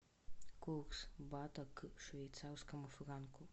курс бата к швейцарскому франку